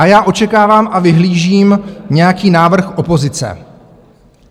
A já očekávám a vyhlížím nějaký návrh opozice.